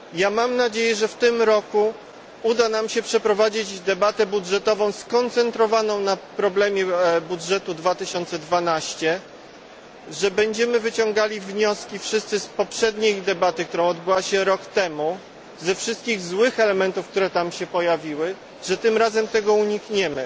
Mam nadzieję, że w tym roku uda nam się przeprowadzić debatę budżetową skoncentrowaną na problemie budżetu 2012, że będziemy wyciągali wnioski wszyscy z poprzedniej debaty, która odbyła się rok temu, ze wszystkich złych elementów, które tam się pojawiły, że tym razem tego unikniemy.